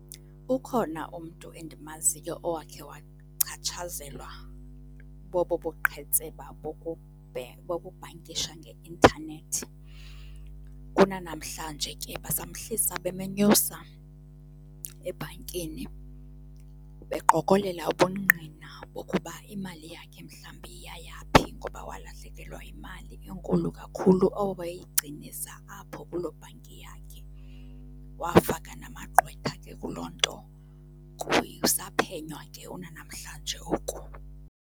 Ukhona umntu endimaziyo owakhe wachatshazelwa bobo buqhetseba bokubhankisha nge intanethi. Kunanamhlanje ke basamhlisa bemenyusa ebhankini beqokolela ubungqina bokuba imali yakhe mhlawumbi yaya phi ngoba walahlekelwa yimali enkulu kakhulu oko wayeyigcinisa apho kuloo bhanki yakhe. Wafaka namagqwetha ke kuloo nto, kusaphenywa ke kunanamhlanje oku.